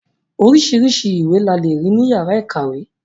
Oríṣiríṣi ìwé la lè rí ní yàrá ìkàwé.